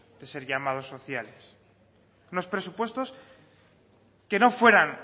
de ser llamados sociales unos presupuestos que no fueran